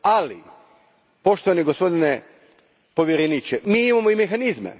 Ali, poštovani gospodine povjereniče, mi imamo i mehanizme.